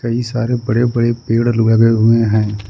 कई सारे बड़े बड़े पेड़ लगे हुए है।